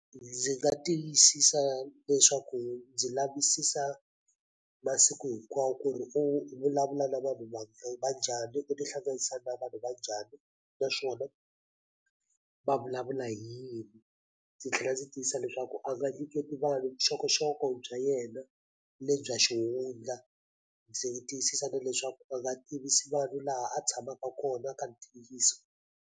Ndzi nga tiyisisa leswaku ndzi lavisisa masiku hinkwawo ku ri u vulavula na vanhu va njhani u tihlanganisa na vanhu va njhani naswona va vulavula hi yini ndzi tlhela ndzi tiyisa leswaku a nga nyiketi vanhu vuxokoxoko bya yena le bya xihundla ndzi tiyisisa na leswaku a nga tivisi vanhu laha a tshamaka kona ka ntiyiso.